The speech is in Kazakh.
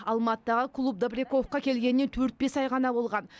алматыдағы клуб добряковқа келгеніне төрт бес ай ғана болған